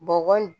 Bɔgɔ in